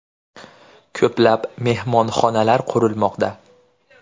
Ko‘plab mehmonxonalar qurilmoqda.